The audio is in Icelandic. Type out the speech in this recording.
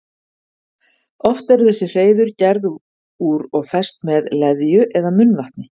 Oft eru þessi hreiður gerð úr og fest með leðju eða munnvatni.